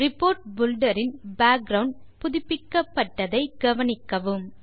report filter இன் background புதுப்பிக்கப்பட்டதை கவனிக்கவும்